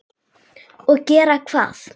Og gera hvað?